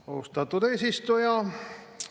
Austatud eesistuja!